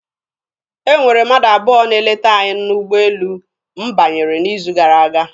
E nwere mmadụ abụọ na-eleta anyị n'ụgbọelu m banyere n'izu gara aga.